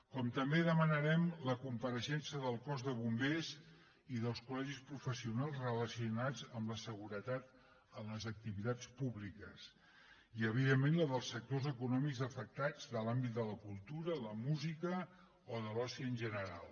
com també demanarem la compareixença del cos de bombers i dels colla seguretat en les activitats públiques i evidentment la dels sectors econòmics afectats de l’àmbit de la cultu ra la música o de l’oci en general